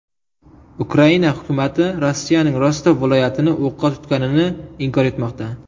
Ukraina hukumati Rossiyaning Rostov viloyatini o‘qqa tutganini inkor etmoqda.